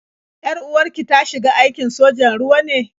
Yar-uwar ki ta shiga aikin sojan ruwa ne?